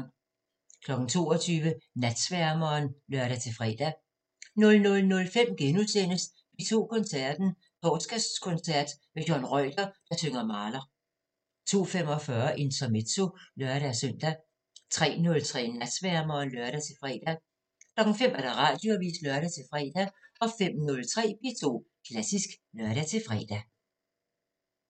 22:00: Natsværmeren (lør-fre) 00:05: P2 Koncerten – Torsdagskoncert med Johan Reuter, der synger Mahler * 02:45: Intermezzo (lør-søn) 03:03: Natsværmeren (lør-fre) 05:00: Radioavisen (lør-fre) 05:03: P2 Klassisk (lør-fre)